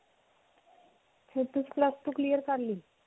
ਕਰ ਲਈ.